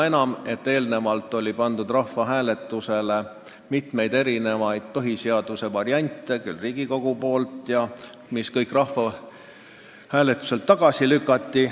Eelnevalt oli ka pandud rahvahääletusele mitu põhiseaduse varianti, küll Riigikogu poolt jne, ent need lükati kõik rahvahääletusel tagasi.